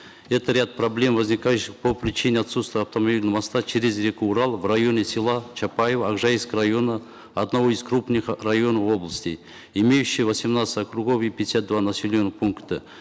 это ряд проблем возникающих по причине отсутствия автомобильного моста через реку урал в районе села чапаево акжаикского района одного из крупных районов области имеющего восемнадцать округов и пятьдесят два населенных пункта